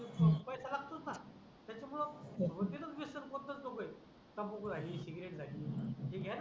पैसा लागतोच णा त्याच्या मूळे कोणते होते णा वेसण कोणतच नको आहे तमाखू झाली सिगारेट झाली हे घ्याला